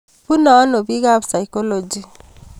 Pune ano bik ab saikolochy